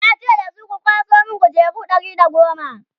ya ce da su 'ku kwaso min kujeru Ɗari da goma!"